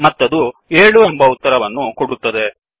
ಮತ್ತದು 7 ಎಂಬ ಉತ್ತರವನ್ನು ಕೊಡುತ್ತದೆ